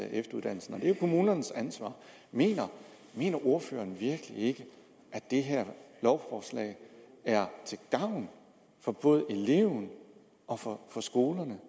efteruddannelsen og det er kommunernes ansvar mener ordføreren virkelig ikke at det her lovforslag er til gavn for både eleverne og for skolerne